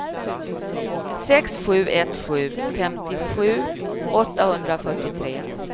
sex sju ett sju femtiosju åttahundrafyrtiotre